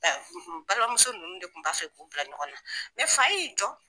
balimamuso ninnu de kun b'a fɛ k'u bila ɲɔgɔnna ne fa e y'i jɔ.